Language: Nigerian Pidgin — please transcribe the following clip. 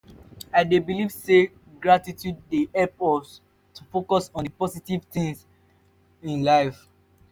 i dey believe say gratitude dey help us to focus on di positive things in life.